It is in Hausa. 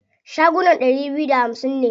Shagunan ɗari biyu da hamsin ne.